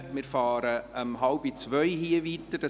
Wir setzen die Beratungen hier um 13.30 Uhr fort.